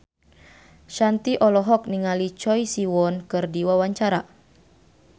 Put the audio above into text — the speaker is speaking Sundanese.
Shanti olohok ningali Choi Siwon keur diwawancara